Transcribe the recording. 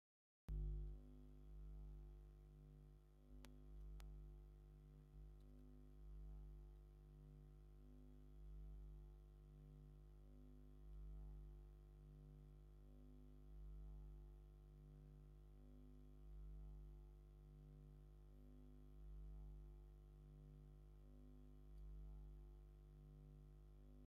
ኣገዳሲ ናይ መወዓውዒ ባነር! እቲ ባነር ሰማያዊ ድሕረ ባይታ ዘለዎን ዓበይቲ ብጫ ፊደላትን ኣለዎ። እቲ ቀንዲ መልእኽቲ "9ይ ዓመት ሙዚየም ውቅሮ" ዝብል እዩ። ኣብ ላዕሊ "መኽባር 9ይ ዮር ቤት-መዘከር ውቅሮ" ዝብል ጽሑፍ ትግርኛ'ውን ተጻሒፉ ኣሎ።